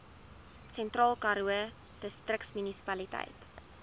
sentraalkaroo distriksmunisipaliteit